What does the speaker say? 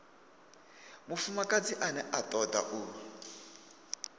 mufumakadzi ane a toda u